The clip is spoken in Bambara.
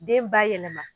Den ba yɛlɛma